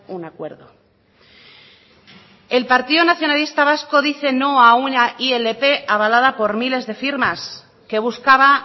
un acuerdo el partido nacionalista vasco dice no a una ilp avalada por miles de firmas que buscaba